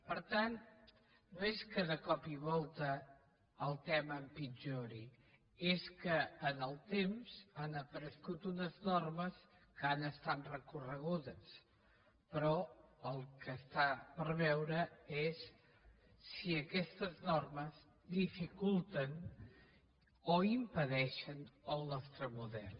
per tant no és que de cop i volta el tema empitjori és que en el temps han aparegut unes normes que han estat recorregudes però el que està per veure és si aquestes normes dificulten o impedeixen el nostre model